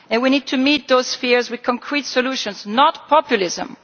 We need to meet those fears with concrete solutions, not populism.